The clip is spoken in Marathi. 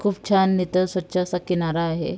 खूप छान इथ स्वच्छ असा किनारा आहे.